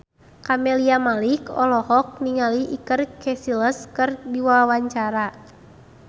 Camelia Malik olohok ningali Iker Casillas keur diwawancara